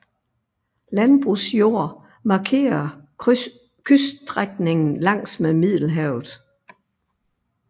Landbrugsjord markerer kyststrækningen langs med Middelhavet